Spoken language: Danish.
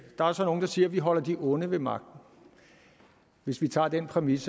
der er så nogle der siger at vi holder de onde ved magten hvis vi tager den præmis